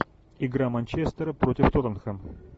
игра манчестера против тоттенхэм